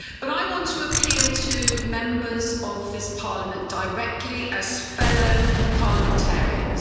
I want to appeal to Members of this Parliament directly, as fellow parliamentarians.